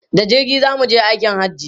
Da jirgi za mu je aikin Hajji.